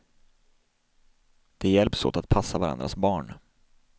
De hjälps åt att passa varandras barn.